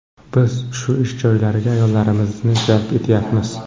Biz shu ish joylariga ayollarimizni jalb etyapmiz.